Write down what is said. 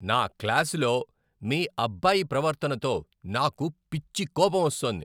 నా క్లాసులో మీ అబ్బాయి ప్రవర్తనతో నాకు పిచ్చి కోపం వస్తోంది.